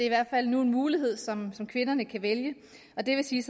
i hvert fald nu en mulighed som kvinderne kan vælge det vil sige